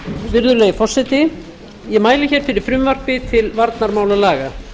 virðulegi forseti ég mæli hér fyrir frumvarpi til varnarmálalaga